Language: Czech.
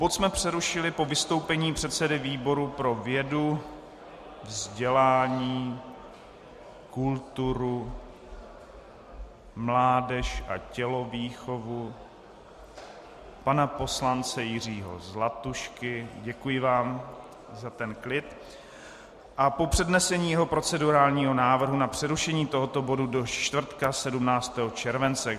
Bod jsme přerušili po vystoupení předsedy výboru pro vědu, vzdělání, kulturu, mládež a tělovýchovu , pana poslance Jiřího Zlatušky - děkuji vám za ten klid - a po přednesení jeho procedurálního návrhu na přerušení tohoto bodu do čtvrtka 17. července.